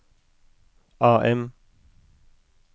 AM